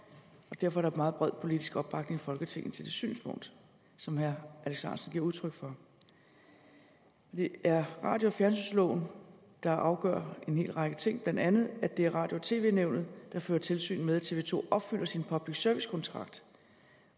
og derfor er der meget bred politisk opbakning i folketinget til det synspunkt som herre alex ahrendtsen giver udtryk for det er radio og fjernsynsloven der afgør en hel række ting blandt andet at det er radio og tv nævnet der fører tilsyn med at tv to opfylder sin public service kontrakt